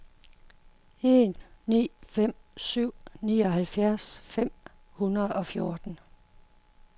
en ni fem syv nioghalvfems fem hundrede og fjorten